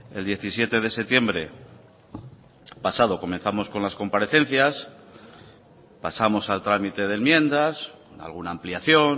el diecisiete de septiembre pasado comenzamos con las comparecencias pasamos al trámite de enmiendas alguna ampliación